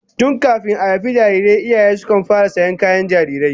Tun kafin a haifi jarirai iyaye sukan fara sayan kayan jarirai